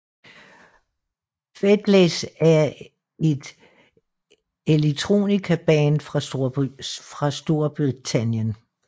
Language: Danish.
Faithless er et electronica band fra Storbritannien